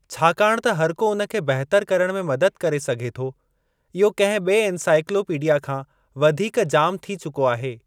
छाकाणि त हरिको उन खे बहितर करण में मदद करे सघे थो इहो कंहिं ॿिए इनसाइक्लोपीडिया खां वधीक जाम थी चुको आहे।